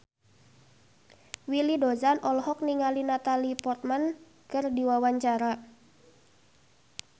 Willy Dozan olohok ningali Natalie Portman keur diwawancara